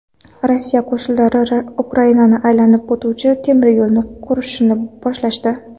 Rossiya qo‘shinlari Ukrainani aylanib o‘tuvchi temiryo‘lni qurishni boshlashdi.